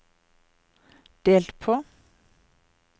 delt på